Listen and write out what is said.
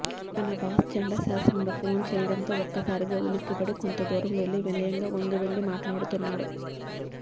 తన బాస్ చండశాసనుడు ఫోన్ చేయడంతో ఒక్కసారిగా ఉలిక్కిపడి కొంత దూరం వెళ్లి వినయంగా వంగి వంగి మాట్లాడుతున్నాడు